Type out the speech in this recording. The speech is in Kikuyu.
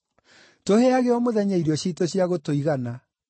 Tũheage o mũthenya irio ciitũ cia gũtũigana.